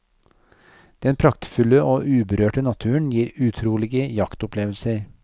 Den praktfulle og uberørte naturen gir utrolige jaktopplevelser.